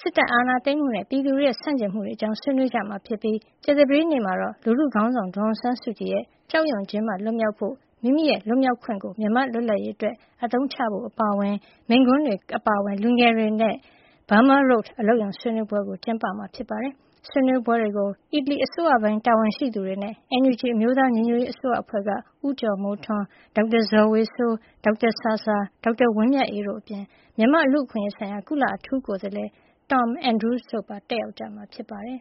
စစ်တပ်အာဏာသိမ်းမှုနဲ့ ပြည်သူတွေရဲ့ ဆန့်ကျင်မှုတွေအကြောင်း ဆွေးနွေးကြမှာဖြစ်ပြီး ကြာသပတေးနေ့မှာတော့ လူထုခေါင်းဆောင် ဒေါ်အောင်ဆန်းစုကြည်ရဲ့ ကြောက်ရွံ့ခြင်းမှ လွတ်မြောက်ဖို့နဲ့ မိမိလွတ်မြောက်ခွင့်ကို မြန်မာနိုင်ငံ လွတ်လပ်ရေးအတွက် အသုံးချဖို့ အပါအဝင် မိန့်ခွန်းတွေ၊ ကဗျာနဲ့ တော်လှန်ရေး အပါအဝင် လူငယ်အဖွဲ့တွေရဲ့ Burma Road အလုပ်ရုံဆွေးနွေးပွဲတွေ ကျင်းပမှာပါ။ ဆွေးနွေးပွဲတွေကို အီတလီအစိုးရပိုင်း တာဝန်ရှိသူတွေနဲ့ NUG အမျိုးသားညီညွတ်ရေးအစိုးရအဖွဲ့က ဦးကျော်မိုးထွန်း၊ ဒေါက်တာဇော်ဝေစိုး၊ ဒေါက်တာဆာဆာ၊ ဒေါက်တာဝင်းမြတ်အေးတို့အပြင် မြန်မာ့လူ့အခွင့်အရေးဆိုင်ရာ ကုလအထူးကိုယ်စားလှယ် Tom Andrews တို့ပါ တက်ရောက်ကြမှာ ဖြစ်ပါတယ်